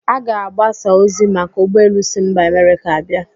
A ga-agbasa ozi maka ụgbọ elu si mba Amerịka abịa?